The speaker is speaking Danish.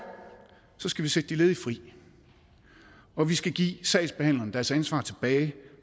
skal vi sætte de ledige fri og vi skal give sagsbehandlerne deres ansvar